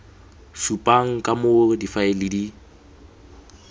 supang ka moo difaele di